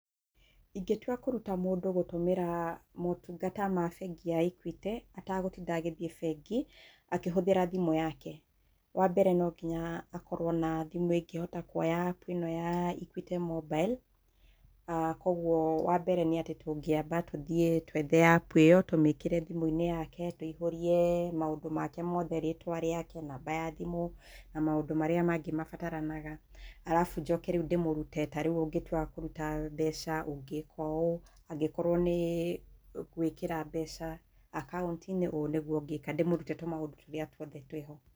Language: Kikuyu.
Ingĩtua kũruta mũndũ gũtũmĩra motungata ma bengi ya Equity, atagũtinda agĩthiĩ bengi, akĩhũthĩra thimũ yake, wa mbere no nginya akorwo na thimũ ĩngĩhota kuoya app ĩno ya Equity Mobile. Koguo wa mbere nĩ atĩ tũngĩamba tũthiĩ twethe app ĩyo, tũmĩkĩre thimũ-inĩ yake, tũihũrie maũndũ make mothe, rĩtwa rĩake, namba ya thimũ na maũndũ marĩa mangĩ mabataranaga arabu njoke rĩu ndĩmũrute, ta rĩu ũngĩtua kũruta mbeca ũngĩka ũũ, angĩkorwo nĩ gwĩkĩra mbeca akaunti-inĩ, ũũ nĩguo ũngĩka, ndĩmũrũte tũmaũndũ tũrĩa tuothe twĩ ho.